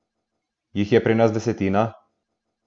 Jih je pri nas desetina?